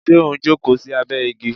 Ṣé o n jókòó sí abẹ igi?